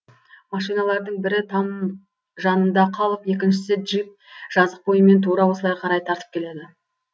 машиналардың бірі там жанында қалып екіншісі джип жазық бойымен тура осылай қарай тартып келеді